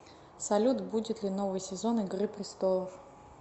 салют будет ли новый сезон игры престолов